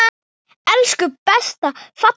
Elsku besta fallega amma mín.